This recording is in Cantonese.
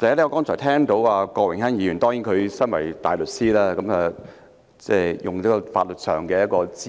首先，我剛才聽到身為大律師的郭榮鏗議員，以法律資格指